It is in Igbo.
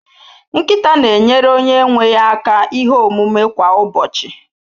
Nkịta na-enyere onye nwe ya aka ihe omume kwa ụbọchị